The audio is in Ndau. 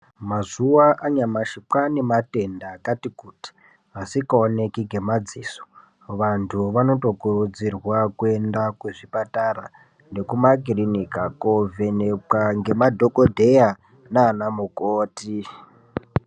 Mazuva anyamashi kwane matenda akati kuti asikaoneki ngemadziso vantu vanotokurudzirwa kuenda kuzvipatara nekumakiliniki kunovhenekwa ngemadhokodheya nanamukoti.